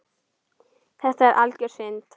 Þetta er algjör synd.